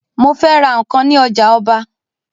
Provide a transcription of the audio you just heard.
Mó fẹ́ ra nǹkan ní ojà ọba